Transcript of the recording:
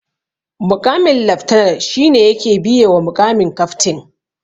Muƙamin laftanan shi ne yake biye wa muƙamin kaftin